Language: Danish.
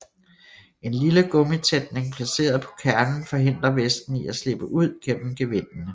En lille gummitætning placeret på kernen forhindrer væsken i at slippe ud gennem gevindene